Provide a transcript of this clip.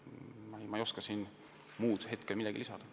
Ma ei oska hetkel muud midagi lisada.